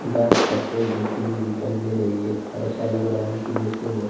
dance का pose देती हुई दिखाई दे रही है ऐसा लग रहा है कि जैसे वो--